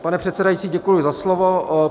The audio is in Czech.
Pane předsedající, děkuji za slovo.